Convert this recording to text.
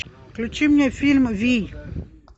включи мне фильм вий